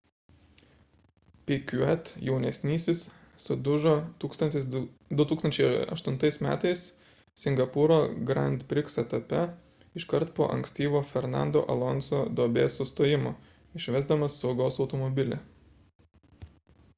piquet jaunesnysis sudužo 2008 m singapūro grand prix etape iškart po ankstyvo fernando alonso duobės sustojimo išvesdamas saugos automobilį